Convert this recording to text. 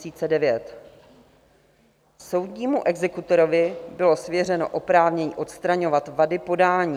Soudnímu exekutorovi bylo svěřeno oprávnění odstraňovat vady podání.